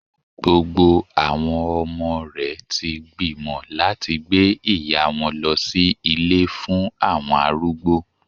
Gbogbo àwọn ọmọ rè ti gbìmọ̀ láti gbé ìyá wọn lọ sí Ilé fún àwọn arúgbó